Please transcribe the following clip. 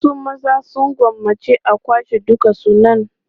Wasu maza sun gwammaci a kwashe dukan sunan.